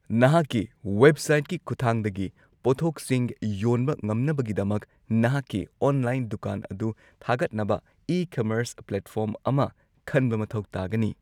ꯅꯍꯥꯛꯀꯤ ꯋꯦꯕꯁꯥꯏꯠꯀꯤ ꯈꯨꯠꯊꯥꯡꯗꯒꯤ ꯄꯣꯠꯊꯣꯛꯁꯤꯡ ꯌꯣꯟꯕ ꯉꯝꯅꯕꯒꯤꯗꯃꯛ ꯅꯍꯥꯛꯀꯤ ꯑꯣꯟꯂꯥꯏꯟ ꯗꯨꯀꯥꯟ ꯑꯗꯨ ꯊꯥꯒꯠꯅꯕ ꯏ-ꯀꯃꯔꯁ ꯄꯂꯦꯠꯐꯣꯔꯝ ꯑꯃ ꯈꯟꯕ ꯃꯊꯧ ꯇꯥꯒꯅꯤ꯫